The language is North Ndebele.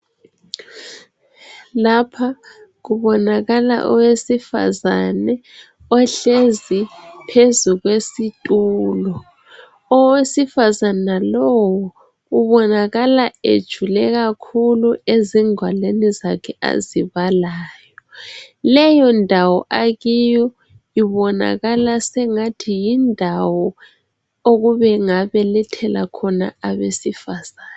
Lapha kubonakala owesifazane ohlezi phezu kwesitulo. Owesifazana lowu ubonakala ejule kakhulu ezingwalweni zakhe azibalayo , leyo ndawo akiyo ibonakala sengathi yindawo okubengabelethela khona abesifazana.